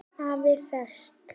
AFI Fest